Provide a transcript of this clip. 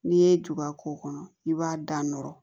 N'i ye juba k'o kɔnɔ i b'a da nɔrɔ